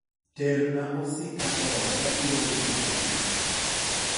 ter na osika ni e ot abiro uso kiny